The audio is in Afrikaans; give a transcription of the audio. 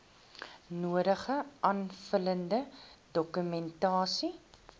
nodige aanvullende dokumentasie